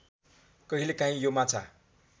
कहिलेकाहीँ यो माछा